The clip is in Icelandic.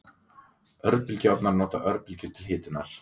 Örbylgjuofnar nota örbylgjur til hitunar.